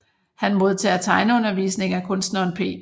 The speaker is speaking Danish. Han modtager tegneundervisning af kunstneren P